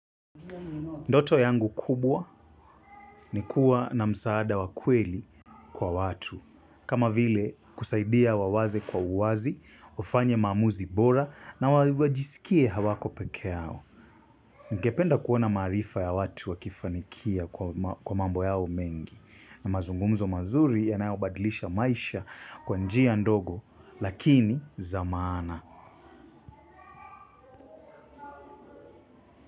Ndoto yangu kubwa ni kuwa na msaada wakweli kwa watu. Kama vile kusaidia wawaze kwa uwazi, ufanya mamuzi bora na wajisikie hawako peke yao. Nkependa kuona marifa ya watu wakifanikia kwa mambo yao mengi. Na mazungumzo mazuri yanayobadilisha maisha kwa njiya ndogo lakini zamana.